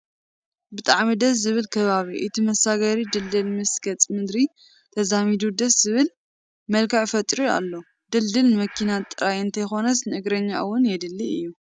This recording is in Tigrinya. ብጣዕ ደዝ ዝብል ከባቢ፡፡ እቲ መሳገሪ ድልድል ምስቲ ገፀ ምድሪ ተዛሚዱ ደስ ዝብል መልክዕ ፈጢሩ ኣሎ፡፡ ድልድል ንመኪና ጥራይ እንተይኮነስ ንእግረኛ እውን የድሊ እዩ፡፡